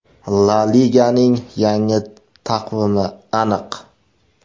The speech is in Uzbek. La Liganing yangi taqvimi aniq.